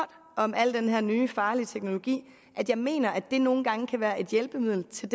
om al den her nye farlige teknologi at jeg mener at den nogle gange kan være et hjælpemiddel til